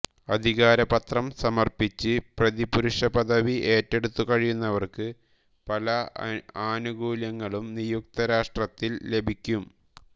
അധികാരപത്രം സമർപ്പിച്ച് പ്രതിപുരുഷപദവി ഏറ്റെടുത്തു കഴിയുന്നവർക്ക് പല ആനുകൂല്യങ്ങളും നിയുക്തരാഷ്ട്രത്തിൽ ലഭിക്കും